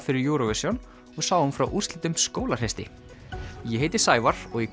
fyrir Eurovision og sáum frá úrslitum skólahreysti ég heiti Sævar og í